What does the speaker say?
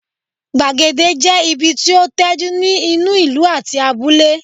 Gbàgede jẹ́ ibi tí ó tẹ́jú ní inú ìlú àti abúlé